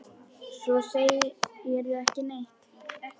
Svo segirðu ekki neitt.